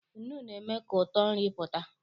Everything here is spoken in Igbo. Nnu na-eme ka ụtọ nri pụta.